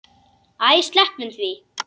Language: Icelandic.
Æ, sleppum því.